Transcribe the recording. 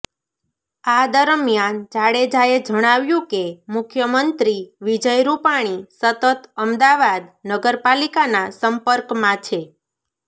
આ દરમિયાન જાડેજાએ જણાવ્યુ કે મુખ્યમંત્રી વિજય રૂપાણી સતત અમદાવાદ નગરપાલિકાના સંપર્કમાં છે